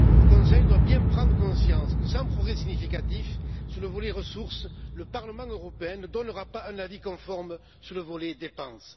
Le Conseil doit bien prendre conscience que, sans progrès significatifs sur le volet des ressources, le Parlement européen ne donnera pas un avis conforme sur le volet des dépenses.